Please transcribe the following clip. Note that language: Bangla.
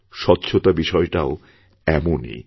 স্বচ্ছতা বিষয়টাও এমনই